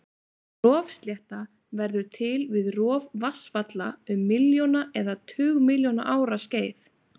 Rofslétta verður til við rof vatnsfalla um milljóna eða tugmilljóna ára skeið.